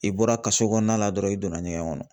I bɔra kaso kɔnɔna la dɔrɔn i donna ɲɛgɛn kɔnɔ